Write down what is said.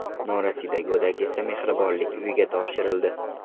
Norasida go‘dak esa mehribonlik uyiga topshirildi.